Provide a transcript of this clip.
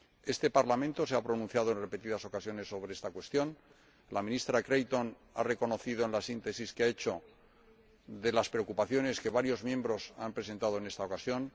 Este Parlamento se ha pronunciado en repetidas ocasiones sobre esta cuestión, la Ministra Creighton lo ha reconocido en la síntesis que ha hecho de las preocupaciones que varios miembros han presentado en esta ocasión.